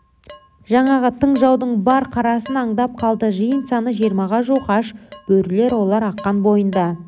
жаңағы тың жаудың бар қарасын аңдап қалды жиын саны жиырмаға жуық аш бөрілер олар аққан бойында